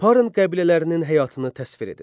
Parn qəbilələrinin həyatını təsvir edin.